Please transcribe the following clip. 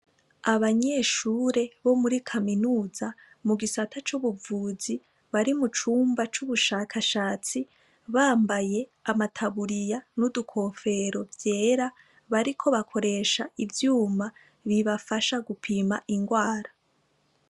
Abanyeshure bo muri kaminuza mu gisata c' ubuvuzi bari mu cumba c' ubushakashatsi bambaye amataburiya n' utugofero vyera bariko bakoresha ivyuma bibafasha gupima ingwara.